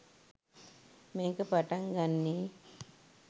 මේක පටන් ගන්නේ